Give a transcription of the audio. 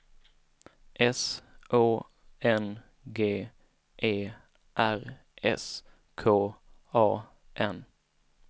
S Å N G E R S K A N